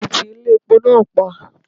A ti ti Ilé epo náà pa.